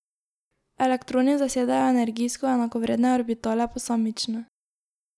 Elektroni zasedejo energijsko enakovredne orbitale posamično.